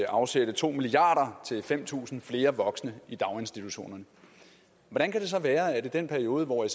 afsætte to milliard kroner til fem tusind flere voksne i daginstitutionerne hvordan kan det så være at i den periode hvor